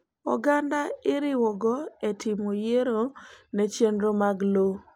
Oganda iriwoga etimo yiero nechenro mag lowo.